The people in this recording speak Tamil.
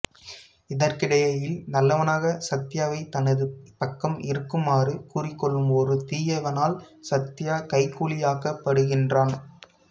இதற்கிடையில் நல்லவனாக சத்யாவைத் தனது பக்கம் இருக்குமாறு கூறிக்கொள்ளும் ஒரு தீயவனால் சத்யா கைக்கூலியாக்கப்படுகின்றான்